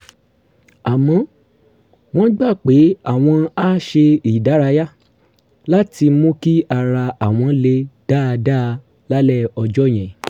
àmọ́ wọ́n gbà pé àwọn á ṣe ìdárayá láti mú kí ara àwọn le dáadáa lálẹ́ ọjọ́ yẹn